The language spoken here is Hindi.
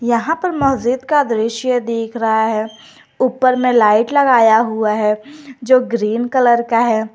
यहां पर मस्जिद का दृश्य दिख रहा है ऊपर में लाइट लगाया हुआ है जो ग्रीन कलर का है।